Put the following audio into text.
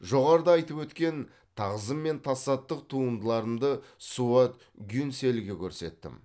жоғарыда айтып өткен тағзым мен тасаттық туындыларымды суат гюнсельге көрсеттім